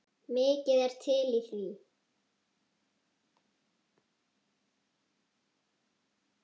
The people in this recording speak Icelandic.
Mikið er til í því.